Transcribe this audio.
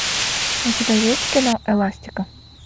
у тебя есть кино эластика